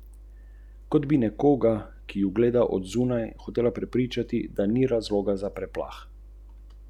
Za prvim šokom pa vendarle sledi čas za ukrepanje.